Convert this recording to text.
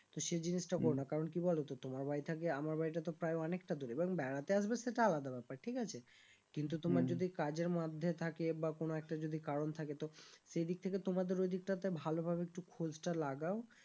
তো সেই জিনিসটা করো না কারণ কি বলো তো তোমার বাড়ি থেকে আমার বাড়ি টা তো প্রায় অনেক টা দূরে এবার বেড়াতে আসবে সেটা আলাদা ব্যাপার ঠিক আছে কিন্তু তোমার যদি কাজের মধ্যে থাকে বা কোনো একটা যদি কারণ থাকে তো সেই দিক থেকে তোমাদের ওদিকটাতে ভালো ভাবে একটু খোঁজটা লাগাও